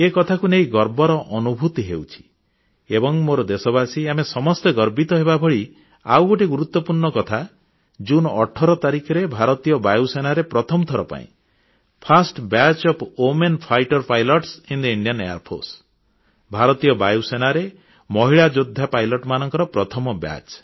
ଏ କଥାକୁ ନେଇ ଗର୍ବର ଅନୁଭୂତି ହେଉଛି ଏବଂ ମୋର ଦେଶବାସୀ ଆମେ ସମସ୍ତେ ଗର୍ବିତ ହେବାଭଳି ଆଉ ଗୋଟିଏ ଗୁରୁତ୍ୱପୂର୍ଣ୍ଣ କଥା ଜୁନ 18 ତାରିଖରେ ଭାରତୀୟ ବାୟୁସେନାରେ ପ୍ରଥମ ଥର ପାଇଁ ଲଢୁଆ ବିମାନ ଚଳାଇବାର ସାମର୍ଥ୍ୟ ରଖିଥିବା ମହିଳା ପାଇଲଟ ସାମିଲ ହୋଇଛନ୍ତି